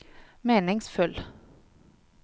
meningsfull